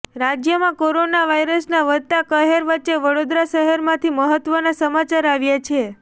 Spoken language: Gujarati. રાજ્યમાં કોરોના વાયરસના વધતા કહેર વચ્ચે વડોદરા શહેરમાંથી મહત્વના સમાચાર આવ્યાં છે